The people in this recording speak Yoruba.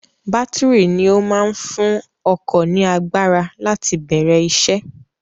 Bátìrì ni ó máa ń fún ọkọ̀ ní agbára láti bẹ̀rẹ̀ isẹ́.